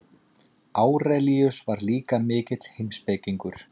Árelíus var líka mikill heimspekingur.